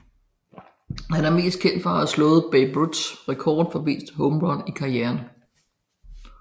Han er mest kendt for at have slået Babe Ruths rekord for flest home runs i karrieren